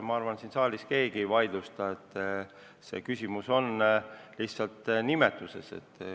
Ma arvan, et siin saalis keegi ei vaidlusta, et küsimus on lihtsalt nimetuses.